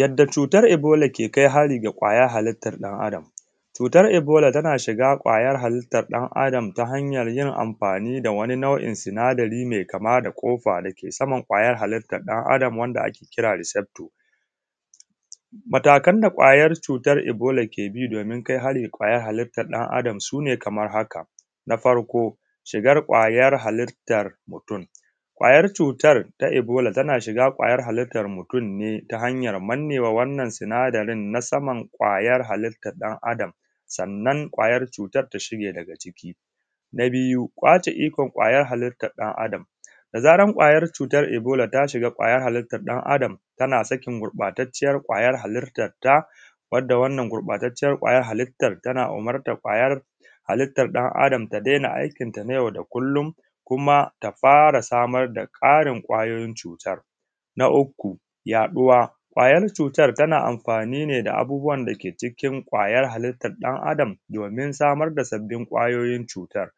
Yadda cutan ebola ke kai hari zuwa ga kwayan halittar mutun. Cutar ebola tana shiga kwayar halittan ɗan’Adam ta hanyan yin amfani da wani sinadari mai kama da kofa da ke saman kwayan halittan ɗa’Adam wanda ake kira da sector. Matakan da kwayar cutan ebola ke kai hari ga kwayan halittan ɗan’Adam su ne kamar haka na farko shigar kwayar halittar mutun, kwayar cutan ebola tana shiga kwayar halittan mutun ne ta hanyar da take manne wa, wannan sinadarin ta saman kwayan halittar ɗan’Adam sannan kwayar cutan ta shige daga ciki. Na biyu kwace ikon kwayan halittan ɗan’Adam, da zarar kawayan cutar ebola ta shiga kwayan halittan ɗan’Adam tana sakin gurbatacciyan kwayar halittan ta wanda wannan gurbatacciyan kwayar cutan tana umurtan kwayan halittan ɗan’Adam da ta dena aikin ta na yau da kullun kuma ta fara samar da kwayoyin kwayar cutan. Na uku yaɗuwa, kwayan cutan tana amfani ne da abun da ke cikin kwayan halittan ɗan’Adam domin samar da sabbin kwayoyin cutan